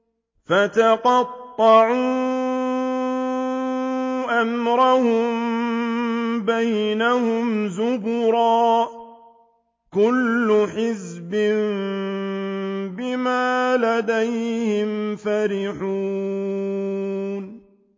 فَتَقَطَّعُوا أَمْرَهُم بَيْنَهُمْ زُبُرًا ۖ كُلُّ حِزْبٍ بِمَا لَدَيْهِمْ فَرِحُونَ